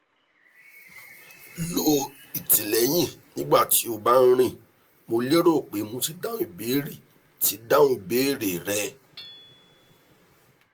lo ìtìlẹyìn nígbà tí o bá ń rìn mo lérò pé mo ti dáhùn ìbéèrè ti dáhùn ìbéèrè rẹ